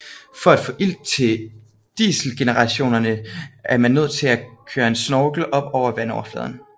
For at få ilt til dieselgeneratorerne er man nødt til at køre en snorkel op over vandoverfladen